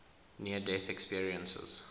near death experiences